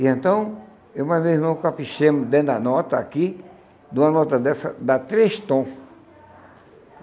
E então, eu mais meu irmão caprichamos dentro da nota, aqui, de uma nota dessa, dá três tom.